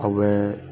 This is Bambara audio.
Aw bɛ